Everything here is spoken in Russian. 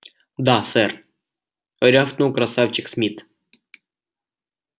да сэр рявкнул красавчик смит